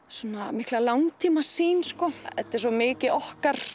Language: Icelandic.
mikla langtímasýn þetta er svo mikið okkar